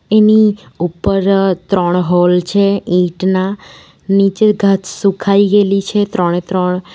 એની ઉપર ત્રણ હોલ છે ઈંટના નીચે ઘાસ સુખાઈ ગેલી છે ત્રણે ત્રણ.